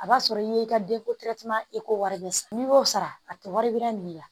A b'a sɔrɔ i ye i ka eko wari bɛ sara n'i y'o sara a tɛ waribaara nin la